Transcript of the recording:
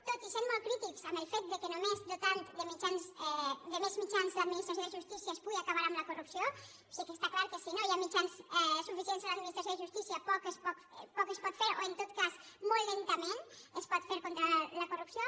tot i sent molt crítics amb el fet que només dotant de més mitjans l’administració de justícia es pugui acabar amb la corrupció sí que està clar que si no hi ha mitjans suficients a l’administració de justícia poc es pot fer o en tot cas molt lentament es pot fer contra la corrupció